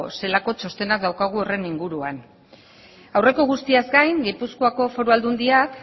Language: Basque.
zelako txostenak dauzkagu horren inguruan aurreko guztiaz gain gipuzkoako foru aldundiak